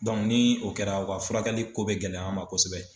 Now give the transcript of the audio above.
ni o kɛra u ka furakɛli ko bɛ gɛlɛya an ma kosɛbɛ.